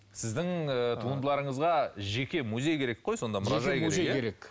сіздің і туындыларыңызға жеке музей керек қой сонда